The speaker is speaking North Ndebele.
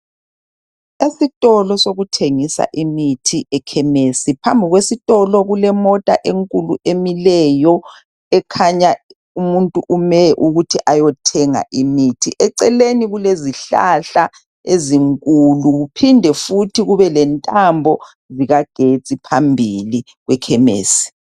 Esitolo sokuthengisa imithi ekhemisi. Phambi kwesitolo kulemota enkulu emileyo. Ekhanya umuntu umele ukuthi ayethenga imuthi. Eceleni kulezihlahla ezinkulu. Kuphinde futhi kube lentambo zikagetsi phambili, ekhemisi.